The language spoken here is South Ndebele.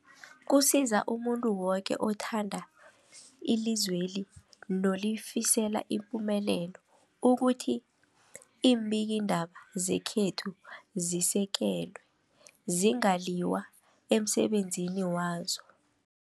Kusiza umuntu woke othanda ilizweli nolifisela ipumelelo ukuthi iimbikiindaba zekhethu zisekelwe, zingaliywa emsebenzini wazo.